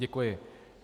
Děkuji.